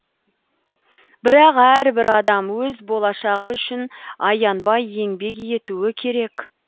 бірақ әрбір адам өз болашағы үшін аянбай еңбек етуі керек